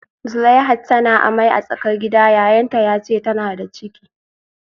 Zuleihat tana amai a tsakar gida, yayanta ya ce tana da ciki